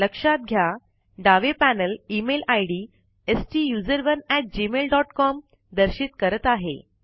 लक्षात घ्या डावे पैनल इमेल आईडी STUSERONEgmailcom दर्शित करत आहे